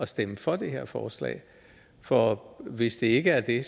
stemme for det her forslag for hvis det ikke er det